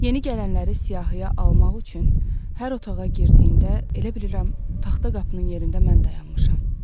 Yeni gələnləri siyahıya almaq üçün hər otağa girdiyində elə bilirəm taxta qapının yerində mən dayanmışam.